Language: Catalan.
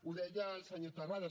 ho deia el senyor terrades